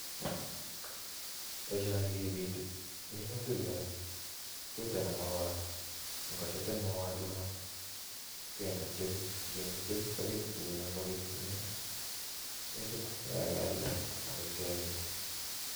Boisoni kipiti minuutik. Kituutani mauat ingo piit kende (tubes), ingoyam kekoll kealda ak kemin